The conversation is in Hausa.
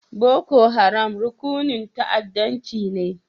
Boko Haram rukunin ta'addancci ne?